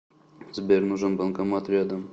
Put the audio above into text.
сбер нужен банкомат рядом